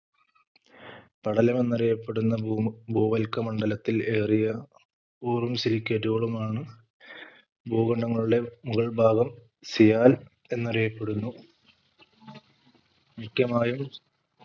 പടലം എന്നറിയപ്പെടുന്ന ഭൂമ ഭൂവൽക്ക മണ്ഡലത്തിൽ ഏറിയ silicate കളുമാണ് ഭൂഖണ്ഡങ്ങളുടെ മുകൾ ഭാഗം sial എന്നറിയപ്പെടുന്നു മിക്കമായും